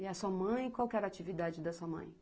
E a sua mãe, qual que era a atividade da sua mãe?